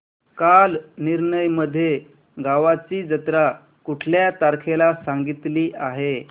कालनिर्णय मध्ये गावाची जत्रा कुठल्या तारखेला सांगितली आहे